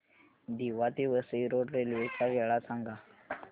दिवा ते Vasai road railway च्या वेळा सांगा